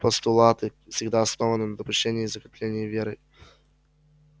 постулаты всегда основаны на допущении и закреплении верой